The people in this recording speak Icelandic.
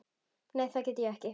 Nei það get ég ekki.